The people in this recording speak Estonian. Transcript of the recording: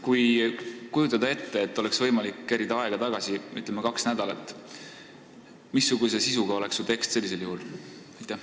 Kui kujutada ette, et oleks võimalik aega kaks nädalat tagasi kerida, missuguse sisuga oleks su tekst sellisel juhul?